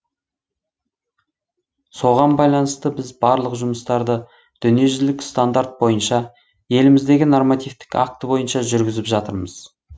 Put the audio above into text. соған байланысты біз барлық жұмыстарды дүниежүзілік стандарт бойынша еліміздегі нормативтік акт бойынша жүргізіп жатырмыз